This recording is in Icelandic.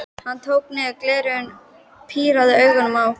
Hann tók niður glerin, pírði augun á okkur.